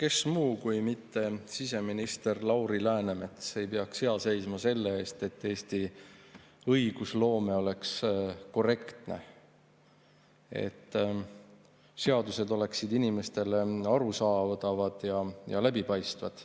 Kes muu kui mitte siseminister Lauri Läänemets peaks hea seisma selle eest, et Eesti õigusloome oleks korrektne ning seadused oleksid inimestele arusaadavad ja läbipaistvad.